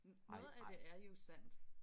Noget af det er jo sandt